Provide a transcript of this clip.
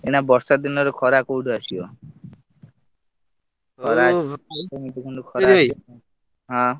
ଏଇନା ବର୍ଷା ଦିନରେ ଖରା କୋଉଠୁ ଆସିବ ହଁ।